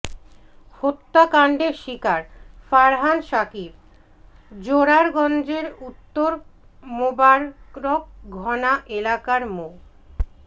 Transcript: হত্যাকাণ্ডের শিকার ফারহান সাকিব জোরারগঞ্জের উত্তর মোবারকঘোনা এলাকার মো